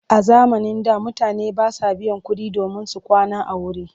A zamanin da mutane ba sa biyan kuɗi domin su kwana a wuri.